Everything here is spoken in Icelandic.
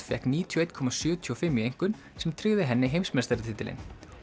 fékk níutíu og eitt komma sjötíu og fimm í einkunn sem tryggði henni heimsmeistaratitilinn